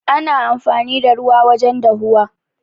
Ana amfani da ruwa wajen dahuwa.